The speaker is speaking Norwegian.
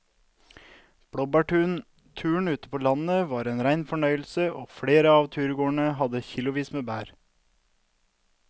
Blåbærturen ute på landet var en rein fornøyelse og flere av turgåerene hadde kilosvis med bær.